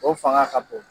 O fanga ka bon